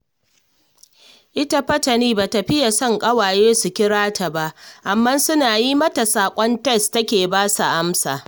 Ita fa Tani ba ta fiye son ƙawaye su kira ta ba, amma suna yi mata saƙon tes take ba su amsa